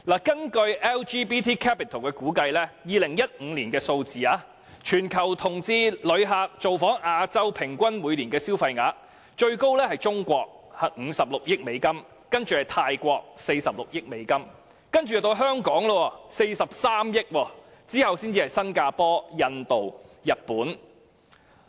根據 LGBT Capital 的估計 ，2015 年全球同志旅客造訪亞洲的平均每年消費額，最高是中國，有56億美元，其次是泰國 ，46 億美元，然後便是香港 ，43 億美元，其後才是新加坡、印度、日本。